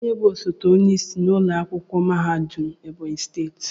Kedu onye bụ osote onyeisi ụlọ akwụkwọ mahadum Ebonyi steeti?